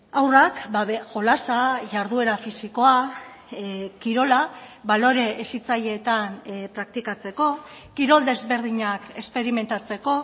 haurrak jolasa jarduera fisikoa kirola balore hezitzaileetan praktikatzeko kirol desberdinak esperimentatzeko